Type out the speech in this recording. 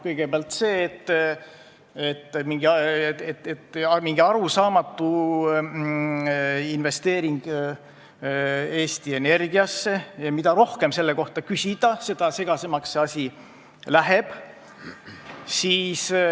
Kõigepealt see, et nähakse ette mingi arusaamatu investeering Eesti Energiasse, ja mida rohkem selle kohta küsida, seda segasemaks asi läheb.